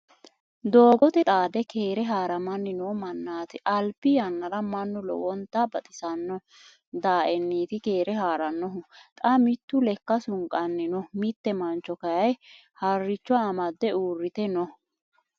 Doogote xaade keere haaramanni noo mannaati. Albi yannara mannu lowonta baxisano daaenniti keere haarannohu. Xa mittu lekka sunqanni no. Mitte mancho kayii harricho amadde uurrite no.